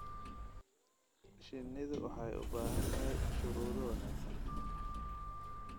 Shinnidu waxay u baahan tahay shuruudo wanaagsan.